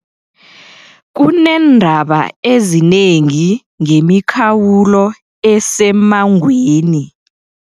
Kuneendaba ezinengi ngemikhawulo esemmangweni.